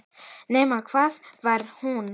Nema hvað hann var hún.